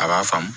A b'a faamu